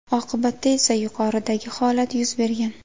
Oqibatda esa yuqoridagi holat yuz bergan.